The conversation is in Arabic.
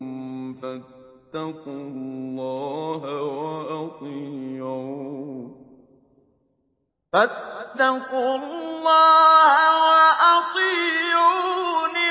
فَاتَّقُوا اللَّهَ وَأَطِيعُونِ